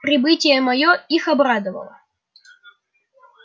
прибытие моё их обрадовало